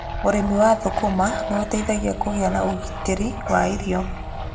Ũrĩmi wa thũkũma nĩ ũteithagia kũgĩa na ũgitĩri wa irio.